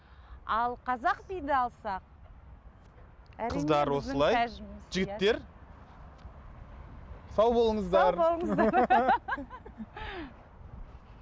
ал қазақ биді алсақ қыздар осылай жігіттер сау болыңыздар сау болыңыздар